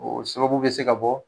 O sababu bɛ se ka bɔ